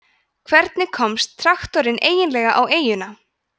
hvernig komst traktorinn eiginlega á eyjuna